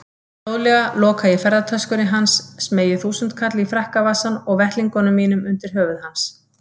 Hljóðlega loka ég ferðatöskunni hans, smeygi þúsundkalli í frakkavasann og vettlingunum mínum undir höfuð hans.